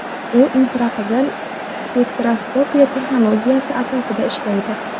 U infraqizil spektroskopiya texnologiyasi asosida ishlaydi.